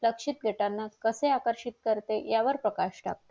लक्षित देताना कसे आकर्षित करते यावर प्रकाश टाकते